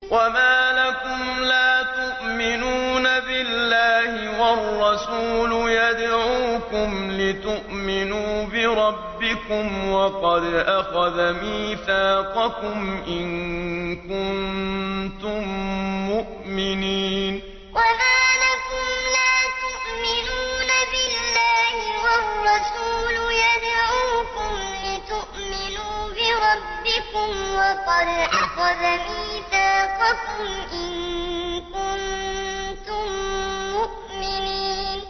وَمَا لَكُمْ لَا تُؤْمِنُونَ بِاللَّهِ ۙ وَالرَّسُولُ يَدْعُوكُمْ لِتُؤْمِنُوا بِرَبِّكُمْ وَقَدْ أَخَذَ مِيثَاقَكُمْ إِن كُنتُم مُّؤْمِنِينَ وَمَا لَكُمْ لَا تُؤْمِنُونَ بِاللَّهِ ۙ وَالرَّسُولُ يَدْعُوكُمْ لِتُؤْمِنُوا بِرَبِّكُمْ وَقَدْ أَخَذَ مِيثَاقَكُمْ إِن كُنتُم مُّؤْمِنِينَ